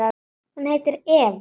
Hún heitir Eva.